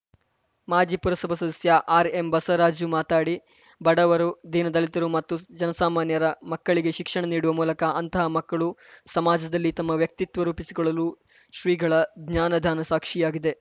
ಮಾಜಿ ಪುರಸಭಾ ಸದಸ್ಯ ಆರ್‌ಎಂ ಬಸವರಾಜು ಮಾತಡಿ ಬಡವರು ದೀನ ದಲಿತರು ಮತ್ತು ಜನಸಾಮಾನ್ಯರ ಮಕ್ಕಳಿಗೆ ಶಿಕ್ಷಣ ನೀಡುವ ಮೂಲಕ ಅಂತಹ ಮಕ್ಕಳು ಸಮಾಜದಲ್ಲಿ ತಮ್ಮ ವ್ಯಕ್ತಿತ್ವ ರೂಪಿಸಿಕೊಳ್ಳಲು ಶ್ರೀಗಳ ಜ್ಞಾನ ದಾನ ಸಾಕ್ಷಿಯಾಗಿದೆ